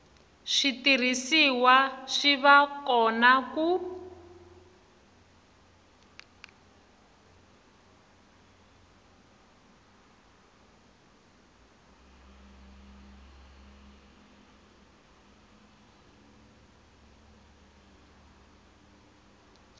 switirhisiwa swi va kona ku